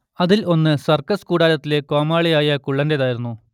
അതിൽ ഒന്ന് സർക്കസ് കൂടാരത്തിലെ കോമാളിയായ കുള്ളന്റേതായിരുന്നു